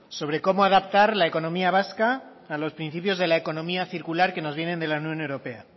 sobre cómo adaptar la economía vasca a los principios de la economía circular que nos vienen de la unión europea